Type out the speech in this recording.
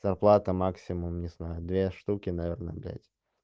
зарплата максимум не знаю две штуки наверное блядь